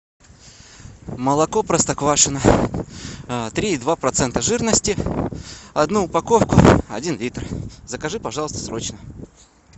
молоко простоквашино три и два процента жирности одну упаковку один литр закажи пожалуйста срочно